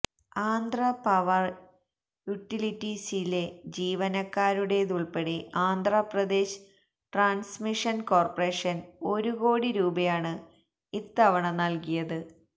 Andhra power യുട്ടിലിറ്റീസിലെ ജീവനക്കാരുടേതുൾപ്പെടെ Andhra Pradesh transmission corporation ഒരു കോടി രൂപയാണ് ഇത്തവണ നൽകിയത്